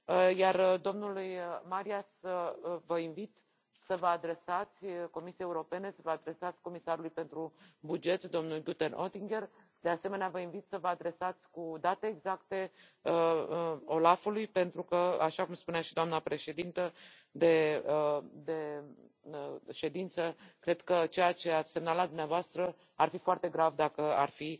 iar domnului Marias vă invit să vă adresați Comisiei Europene, să va adresați comisarului pentru buget, domnul Günther Oettinger, de asemenea, vă invit să vă adresați cu date exacte OLAF ului pentru că, așa cum spunea și doamna președintă de ședință, cred că ceea ce ați semnalat dumneavoastră, ar fi foarte grav, dacă ar fi